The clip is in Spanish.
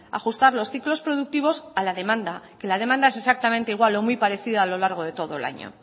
ajustar los ciclos productivos a la demanda y la demanda es exactamente igual o muy parecida a lo largo de todo el año